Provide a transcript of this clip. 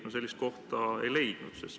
Ma sellist kohta ei leidnud.